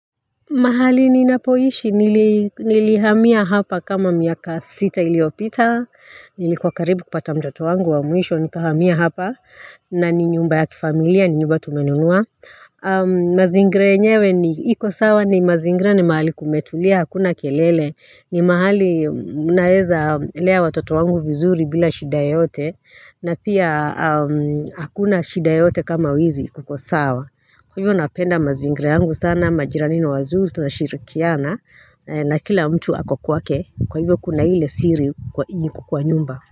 Mahali ni napoishi, nilihamia hapa kama miaka sita iliiopita, nilikuwa karibu kupata mtoto wangu wa mwisho, nikuahamia hapa, na ni nyumba ya kifamilia, ni nyumba tumenunua. Mazingira yenyewe ni, iko sawa ni mazingira ni mahali kumetulia, hakuna kelele, ni mahali naweza lea watoto wangu vizuri bila shida yoyote, na pia hakuna shida yoyote kama wizi kukosawa. Kwa hivyo napenda mazingira yangu sana majirani na wazuri tunashirikiana na kila mtu ako kwake kwa hivyo kuna ile siri kukua nyumba.